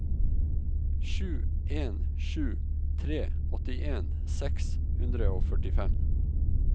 sju en sju tre åttien seks hundre og førtifem